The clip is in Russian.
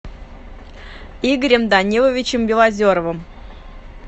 игорем даниловичем белозеровым